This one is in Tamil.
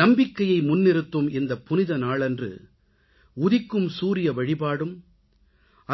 நம்பிக்கையை முன்னிறுத்தும் இந்தப் புனித நாளன்று உதிக்கும் சூரிய வழிபாடும்